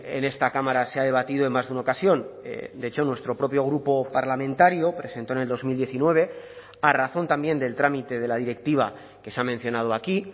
en esta cámara se ha debatido en más de una ocasión de hecho nuestro propio grupo parlamentario presentó en el dos mil diecinueve a razón también del trámite de la directiva que se ha mencionado aquí